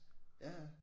Ja ja